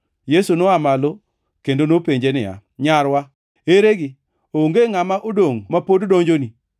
Yesu noa malo kendo nopenje niya, “Nyarwa, eregi? Onge ngʼama odongʼ ma pod donjoni?”